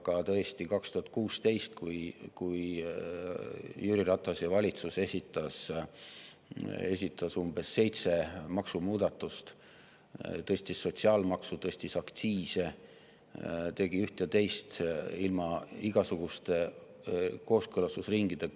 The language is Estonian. Aga tõesti, 2016. aastal esitas Jüri Ratase valitsus umbes seitse maksumuudatust, tõstis sotsiaalmaksu, tõstis aktsiise, tegi üht ja teist ilma igasuguste kooskõlastusringideta.